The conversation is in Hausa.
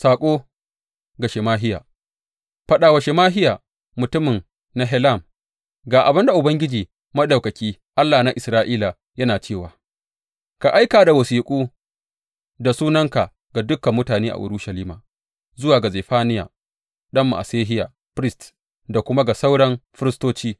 Saƙo ga Shemahiya Faɗa wa Shemahiya mutumin Nehelam, Ga abin da Ubangiji Maɗaukaki, Allah na Isra’ila, yana cewa ka aika da wasiƙu da sunanka ga dukan mutane a Urushalima, zuwa ga Zefaniya ɗan Ma’asehiya firist da kuma ga sauran firistoci.